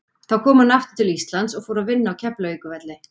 Þá kom hann aftur til Íslands og fór að vinna á Keflavíkurflugvelli.